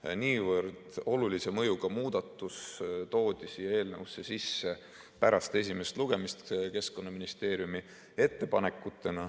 toodi niivõrd olulise mõjuga muudatus siia eelnõusse sisse pärast esimest lugemist Keskkonnaministeeriumi ettepanekutena.